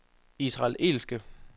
israelske